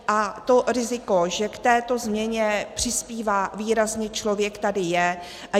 A to riziko, že k této změně přispívá výrazně člověk, tady je.